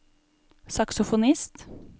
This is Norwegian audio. saksofonist